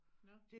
Nåh